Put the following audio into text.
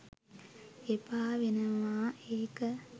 එපා වෙනවා ඒක